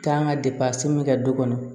Taa n ka kɛ du kɔnɔ